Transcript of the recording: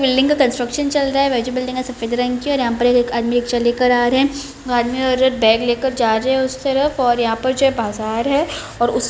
building का construction चल रहा है अच्छी बिल्डिंग है सफेद रंग की और यहां पर एक आदमी रिक्शा लेकर आ रहे हैं वो आदमी औरत बैग लेकर जा रहे हैं और यहां पर जो है बाजार है और उस --